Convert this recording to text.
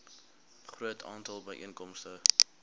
groot aantal byeenkomste